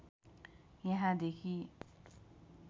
यहाँदेखि